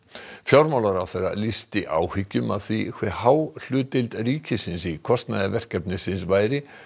fjármálaráðherra lýsti áhyggjum af því hve há hlutdeild ríkisins í kostnaði verkefnisins væri